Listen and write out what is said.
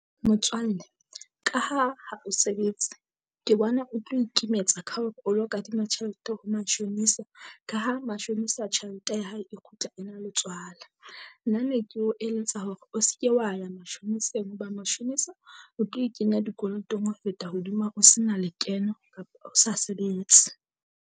Motswalle ka ha ha o sebetse ke bona o tlo ikemetsa ka hore o lo kadima tjhelete ho mashonisa, Ka ha mashonisa tjhelete ya hae e kgutla e na le tswala. Nna ne ke o eletsa hore o se ke wa ya mashoniseng hoba mashonisa o tlo e kenya dikolotong ho feta hodima o se na lekeno kapa o sa sebetse.